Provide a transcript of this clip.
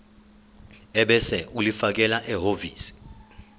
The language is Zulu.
ebese ulifakela ehhovisi